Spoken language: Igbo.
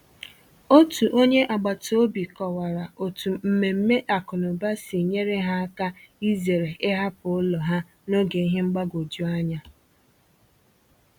Otu onye agbata obi kọwara otu mmemme akụnụba si nyere ha áká izere ịhapụ ụlọ ha n’oge ihe mgbagwoju anya.